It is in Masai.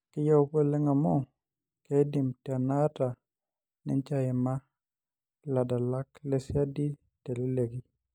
Keyieu apa oleng' amu keidim tenaata ninje aima iladalak lesiadi teleleki.